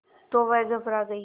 तो वह घबरा गई